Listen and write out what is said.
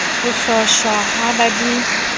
ho hlotjhwa ha ba di